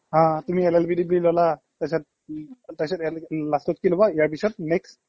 অ তুমি LLB degree ল'লা তাৰপিছত ইয়ালৈকে উম্ last তত কি ল'বা ইয়াৰ পিছত next